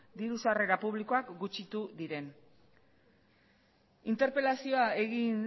diru sarrera publikoak gutxitu diren interpelazioa egin